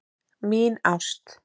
Mín ást